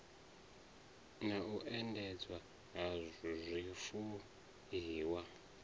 na u endedzwa ha zwifuiwa